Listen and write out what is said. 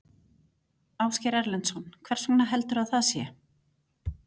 Ásgeir Erlendsson: Hvers vegna heldurðu að það sé?